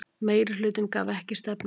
Meirihluti gaf ekki stefnuljós